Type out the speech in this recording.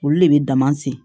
Olu de bɛ dama segin